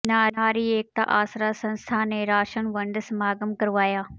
ਨਾਰੀ ਏਕਤਾ ਆਸਰਾ ਸੰਸਥਾ ਨੇ ਰਾਸ਼ਨ ਵੰਡ ਸਮਾਗਮ ਕਰਵਾਇਆ